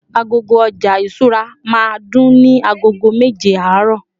agogo oja ìṣura ma dùn ni ago meje aaro